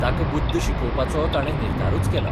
ताका बुद्द शिकोवपाचो ताणे निर्धारूच केला.